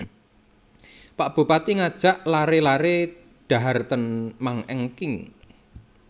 Pak Bupati ngajak lare lare dhahar ten Mang Engking